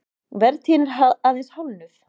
Vertíðin er aðeins hálfnuð